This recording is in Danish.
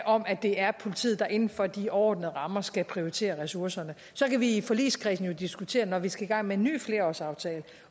om at det er politiet der inden for de overordnede rammer skal prioritere ressourcerne så kan vi i forligskredsen jo diskutere når vi skal i gang med en ny flerårsaftale